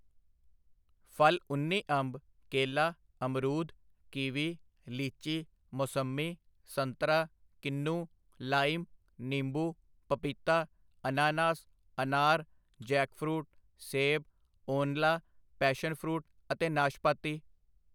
ਫਲ ਉੱਨੀ ਅੰਬ, ਕੇਲਾ, ਅਮਰੂਦ, ਕੀਵੀ, ਲੀਚੀ, ਮੌਸੱਮੀ, ਸੰਤਰਾ, ਕਿਨੂੰ, ਲਾਈਮ, ਨਿੰਬੂ, ਪਪੀਤਾ, ਅਨਾਨਾਸ, ਅਨਾਰ, ਜੈਕਫਰੂਟ, ਸੇਬ, ਓਨਲਾ, ਪੈਸ਼ਨ ਫਰੂਟ ਅਤੇ ਨਾਸ਼ਪਾਤੀ।